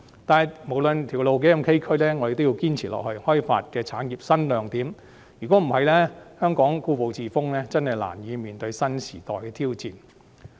但是，不論路途多崎嶇，我們也要堅持開發產業新亮點，如果香港故步自封，實在難以面對新時代的挑戰。